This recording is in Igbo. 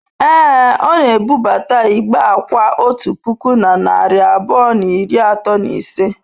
Ee, ọ na-ebubata igbe akwa otu puku na narị abụọ na iri atọ na ise.